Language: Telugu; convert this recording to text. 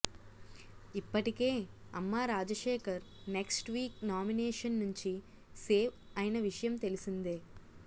ఇప్పటికే అమ్మా రాజశేఖర్ నెక్ట్స్ వీక్ నామినేషన్ నుంచి సేవ్ అయిన విషయం తెలిసిందే